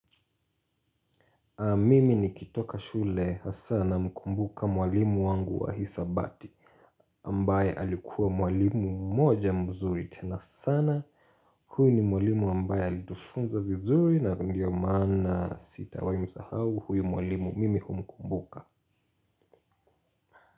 Mimi nikitoka shule hasa namkumbuka mwalimu wangu wa hisabati ambaye alikuwa mwalimu mmoja mzuri tena sana. Huyo ni mwalimu ambaye alitufunza vizuri na ndio maana sitawaimsahau. Huyo mwalimu mimi humkumbuka.